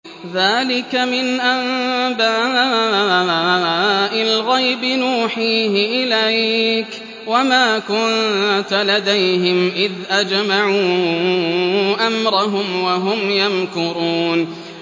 ذَٰلِكَ مِنْ أَنبَاءِ الْغَيْبِ نُوحِيهِ إِلَيْكَ ۖ وَمَا كُنتَ لَدَيْهِمْ إِذْ أَجْمَعُوا أَمْرَهُمْ وَهُمْ يَمْكُرُونَ